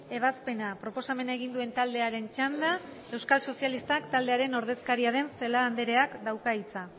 ebazpena proposamena egin duen taldearen txanda euskal sozialistak taldearen ordezkaria den celaá andreak dauka hitza